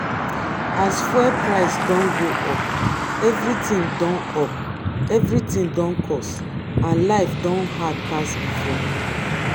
as fuel price don go up everything don up everything don cost and life don hard pass before.